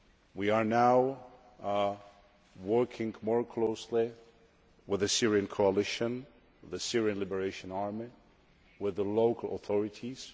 We are now working more closely with the Syrian coalition, with the Syrian Liberation Army, with the local authorities.